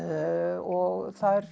og